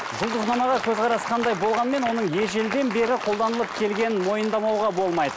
жұлдызнамаға көзқарас қандай болғанмен оның ежелден бері қолданылып келгенін мойындамауға болмайды